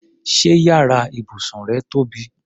Ṣé yàrá ibùsùn rẹ tóbi?